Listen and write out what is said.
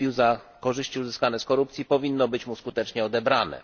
kupił za korzyści uzyskane z korupcji, powinno zostać mu skutecznie odebrane.